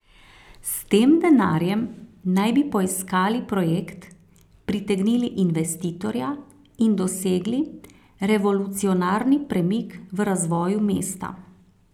S tem denarjem naj bi poiskali projekt, pritegnili investitorja in dosegli revolucionarni premik v razvoju mesta.